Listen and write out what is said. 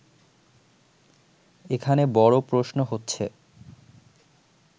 এখানে বড় প্রশ্ন হচ্ছে